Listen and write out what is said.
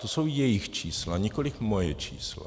To jsou jejich čísla, nikoliv moje čísla.